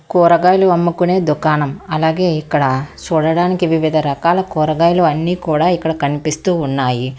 కూరగాయలు అమ్ముకునే దుకాణం అలాగే ఇక్కడ చూడడానికి వివిధ రకాల కూరగాయలు అన్నీ కూడా ఇక్కడ కనిపిస్తూ ఉన్నాయి.